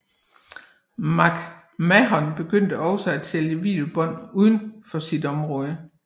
McMahon begyndte også at sælge videobånd uden for sit område